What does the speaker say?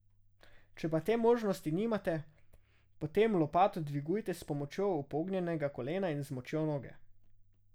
Če pa te možnosti nimate, potem lopato dvigujte s pomočjo upognjenega kolena in z močjo noge.